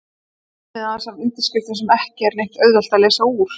Og nafnið aðeins af undirskriftum sem ekki er neitt auðvelt að lesa úr.